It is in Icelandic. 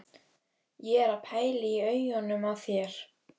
Ég er að pæla í augunum á þér.